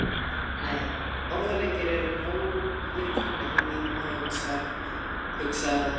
Nei, orðaleikir eru nógir komnir í mínum höfundskap, hugsaði það.